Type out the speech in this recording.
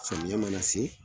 Samiyɛ mana se